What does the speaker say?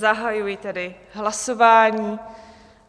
Zahajuji tedy hlasování.